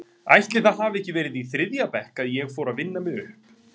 Ætli það hafi ekki verið í þriðja bekk að ég fór að vinna mig upp?